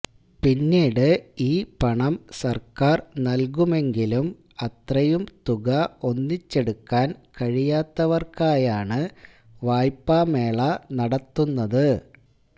പിന്നീട് ഈ പണം സര്ക്കാര് നല്കുമെങ്കിലും അത്രയും തുക ഒന്നിച്ചെടുക്കാന് കഴിയാത്തവര്ക്കായാണ് വായ്പാമേള നടത്തുന്നത്